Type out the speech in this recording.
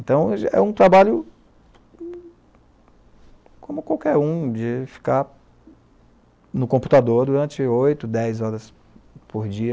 Então, é um trabalho, como qualquer um, de ficar no computador durante oito, dez horas por dia